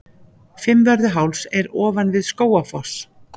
Fimmvörðuháls er ofan við Skógafoss.